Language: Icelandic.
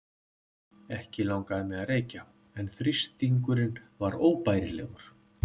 Ekki langaði mig að reykja en þrýstingurinn var óbærilegur.